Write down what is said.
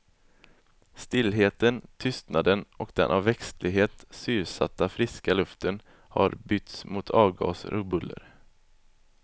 Stillheten, tystnaden och den av växtlighet syrsatta friska luften har bytts mot avgaser och buller.